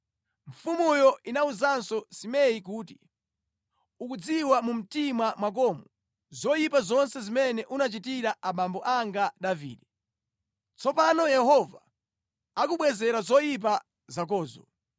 Mfumuyo inawuzanso Simei kuti, “Ukudziwa mu mtima mwakomo zoyipa zonse zimene unachitira abambo anga Davide. Tsopano Yehova akubwezera zoyipa zakozo.